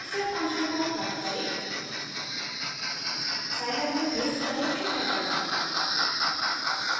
xset function को cut करें Scilab में पेस्ट करें एंटर दबाएं